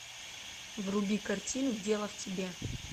вруби картину дело в тебе